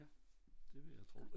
Ja det vil jeg tro